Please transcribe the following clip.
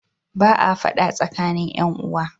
Ba a fada tsakanin ƴan uwa.